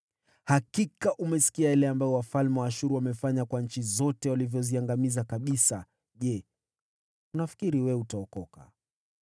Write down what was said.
Hakika umesikia yale ambayo wafalme wa Ashuru wametenda kwa nchi zote, wakiwaangamiza kabisa. Je, wewe utaokolewa?